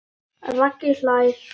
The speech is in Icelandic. Raggi hlær.